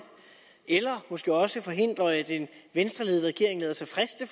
eller måske også forhindre at en venstreledet regering lader sig friste